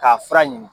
K'a fura ɲini